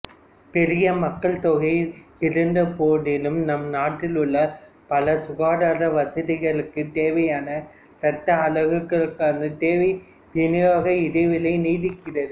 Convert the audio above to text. பெரிய மக்கள்தொகை இருந்தபோதிலும் நம் நாட்டில் உள்ள பல சுகாதார வசதிகளுக்கு தேவையான இரத்த அலகுகளுக்கான தேவைவிநியோக இடைவெளி நீடிக்கிறது